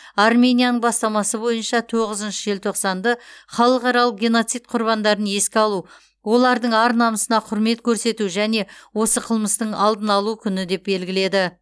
арменияның бастамасы бойынша тоғызыншы желтоқсанды халықаралық геноцид құрбандарын еске алу олардың ар намысына құрмет көрсету және осы қылмыстың алдын алу күні деп белгіледі